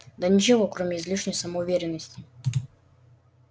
да ничего кроме излишней самоуверенности